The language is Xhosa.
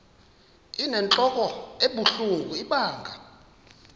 inentlok ebuhlungu ibanga